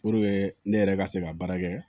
Puruke ne yɛrɛ ka se ka baara kɛ